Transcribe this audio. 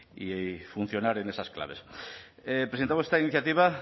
y funcionar en esas claves presentamos esta iniciativa